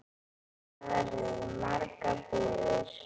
Þar eru margar búðir.